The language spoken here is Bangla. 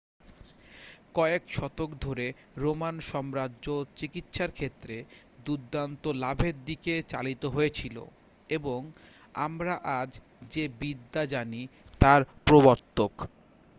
কয়েক শতক ধরে রোমান সাম্রাজ্য চিকিৎসার ক্ষেত্রে দুর্দান্ত লাভের দিকে চালিত হয়েছিল এবং আমরা আজ যে বিদ্যা জানি তার প্রবর্তক